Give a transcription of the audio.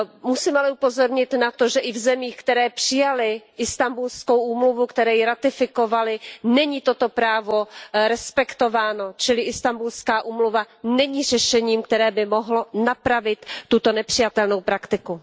Musím ale upozornit na to, že i v zemích, které přijaly Istanbulskou úmluvu, které ji ratifikovaly, není toto právo respektováno, čili Istanbulská úmluva není řešením, které by mohlo napravit tuto nepřijatelnou praktiku.